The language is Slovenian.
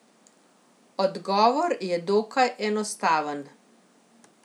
Odgovor je dokaj enostaven.